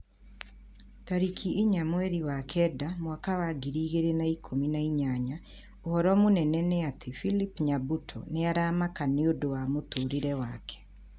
Tarĩki inya mweri wa kenda mwaka wa ngiri igĩrĩ na ikũmi na inyanya ũhoro mũnene nĩ ati philip nyabuto nĩ aramaka nĩũndũ wa mũtũrĩre wake